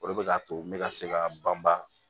O de bɛ k'a to n bɛ ka se ka banba